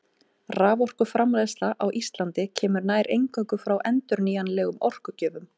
Raforkuframleiðsla á Íslandi kemur nær eingöngu frá endurnýjanlegum orkugjöfum.